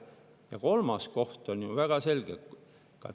Ja kolmas koht on ju väga selge.